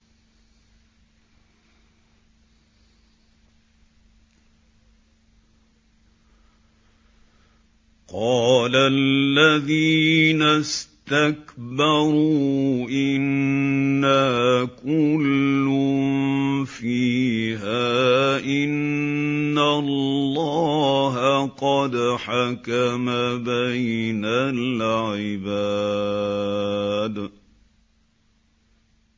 قَالَ الَّذِينَ اسْتَكْبَرُوا إِنَّا كُلٌّ فِيهَا إِنَّ اللَّهَ قَدْ حَكَمَ بَيْنَ الْعِبَادِ